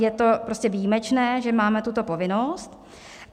Je to prostě výjimečné, že máme tuto povinnost.